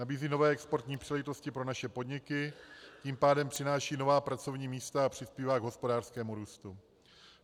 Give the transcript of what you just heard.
Nabízí nové exportní příležitosti pro naše podniky, tím pádem přináší nová pracovní místa a přispívá k hospodářskému růstu.